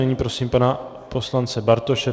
Nyní prosím pana poslance Bartoše.